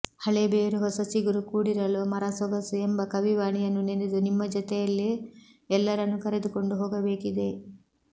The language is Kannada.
ಹಳೆ ಬೇರು ಹೊಸ ಚಿಗುರು ಕೂಡಿರಲು ಮರ ಸೊಗಸು ಎಂಬ ಕವಿವಾಣಿಯನ್ನು ನೆನೆದು ನಿಮ್ಮ ಜತೆಯಲ್ಲಿ ಎಲ್ಲರನ್ನು ಕರೆದುಕೊಂಡು ಹೋಗಬೇಕಿದೆ